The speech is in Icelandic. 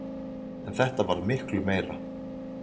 En þetta varð miklu meira.